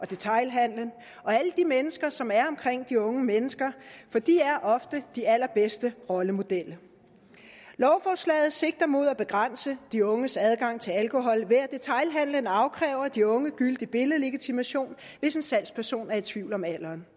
detailhandelen og alle de mennesker som er omkring de unge mennesker for de er ofte de allerbedste rollemodeller lovforslaget sigter mod at begrænse de unges adgang til alkohol ved at detailhandelen afkræver de unge gyldig billedlegitimation hvis en salgsperson er i tvivl om alderen